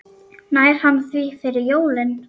Nær hann því fyrir jólin?